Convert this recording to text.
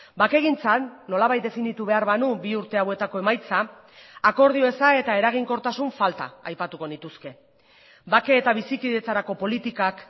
bakegintzan nolabait definitu behar banu bi urte hauetako emaitza akordio eza eta eraginkortasun falta aipatuko nituzke bake eta bizikidetzarako politikak